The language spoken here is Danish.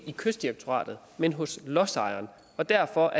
i kystdirektoratet men hos lodsejeren derfor